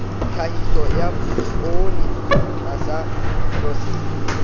tlhahiso ya poone tlasa nosetso